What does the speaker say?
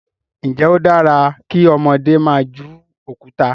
njé o dára kí ọmọdé má jù Òkúta?